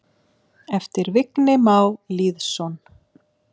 eftir Vigni Má Lýðsson